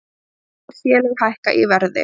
Fjögur félög hækka í verði